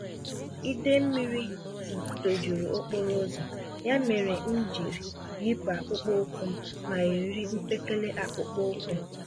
Idee Mlmmiri tojuru okporoụzọ, ya mèrè m jiri yipụ akpụkpọ ụkwụm ma yiri mpekele akpụkpọ ụkwụ